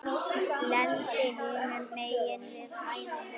Lendi hinum megin við hæðina.